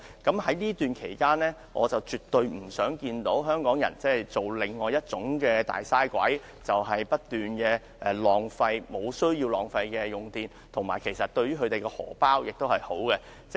在這期間，我絕對不想香港人成為另一種"大嘥鬼"，不斷無必要地浪費電力，而這決議案通過對市民的荷包也有好處。